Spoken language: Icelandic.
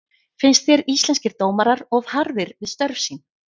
Finnst þér Íslenskir dómarar of harðir við störf sín?